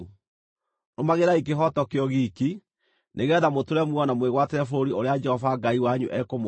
Rũmagĩrĩrai kĩhooto kĩo giiki, nĩgeetha mũtũũre muoyo na mwĩgwatĩre bũrũri ũrĩa Jehova Ngai wanyu ekũmũhe.